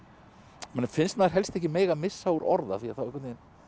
manni finnst maður helst ekki mega missa úr orð af því þá einhvern veginn